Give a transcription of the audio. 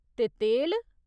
ते तेल !